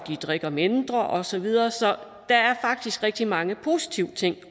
drikker mindre og så videre så der er faktisk også rigtig mange positive ting at